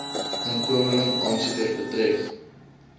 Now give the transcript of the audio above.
inkomeling aansoekers betref